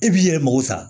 E b'i yɛrɛ mago sa